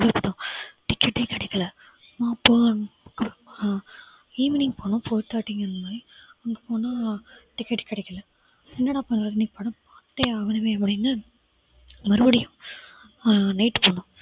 ticket ஏ கிடைக்கல. அப்புறம் evening போனோம் four thirty அந்த மாதிரி அங்க போனா ticket கிடைக்கல. என்னடா பண்ணலாம் இன்னைக்கு படம் பார்த்தே ஆகனுமே அப்படின்னு மறுபடியும் அஹ் night போனோம்